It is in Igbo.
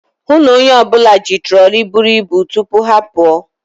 Hụụ na onye ọbụla ji troli buru ibu tupu ha apụọ.